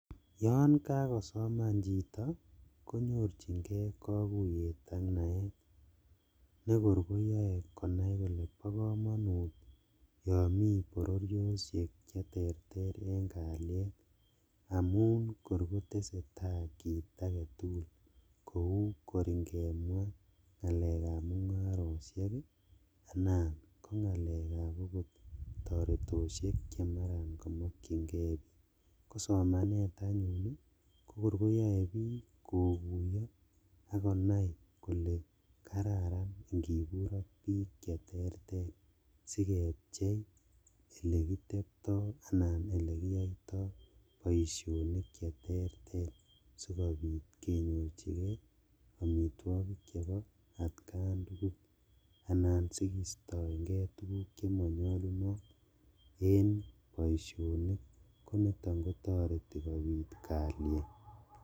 Yon kakosoman chito konyorjingee kokuyet ak naet nekor koyoe konai kole bokomonut yon mi bororioshek cheterter en kalyet amun kor kotesetaa kit aketugul kou kor ingemwa ngalekab mungaroshek anan okot kotoretoshek chemaran komokchingee bik, kosomanet anyun ii kokir koyoe kokuyo akonai kole kararan ingibur ak bik cheterter sikepchei elekitepto anan elekiyoito boisionik cheterter sikobit konyorjigee omitwogik chebo atkan tugul anan sikistoenge tuguk chemonyolunot en boisionlk koniton kotoreti kobit kalyet.